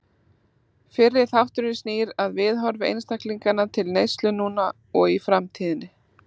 Fyrri þátturinn snýr að viðhorfi einstaklinganna til neyslu núna og í framtíðinni.